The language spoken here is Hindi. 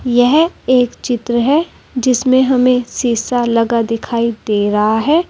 यह एक चित्र है जिसमे हमें शीशा लगा दिखाई दे रहा है।